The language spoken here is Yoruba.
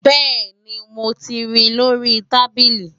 bẹ́ẹ̀ni, mo ri lórí i tábìlì